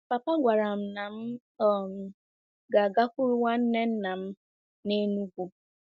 Papa gwara m na m um ga-agakwuru nwanne nna m n'Enugwu.